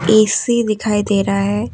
AC दिखाई दे रहा है।